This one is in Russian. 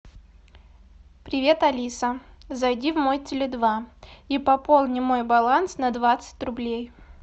привет алиса зайди в мой теле два и пополни мой баланс на двадцать рублей